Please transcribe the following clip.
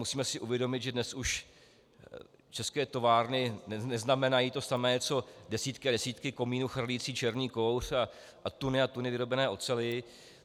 Musíme si uvědomit, že dnes už české továrny neznamenají to samé co desítky a desítky komínů chrlících černý kouř a tuny a tuny vyrobené oceli.